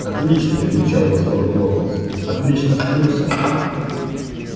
отлично излучал восторг локонс отлично с плюсом